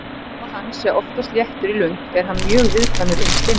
Hún var fegnust þegar við gátum farið að bjarga okkur meira sjálfar.